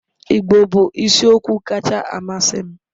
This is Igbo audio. Igbo bụ isiokwu kacha amasị m